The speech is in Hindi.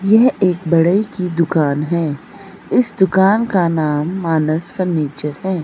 यह एक बड़े की दुकान है इस दुकान का नाम मानस फर्नीचर है।